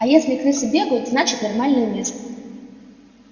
а если крысы бегают значит нормальное место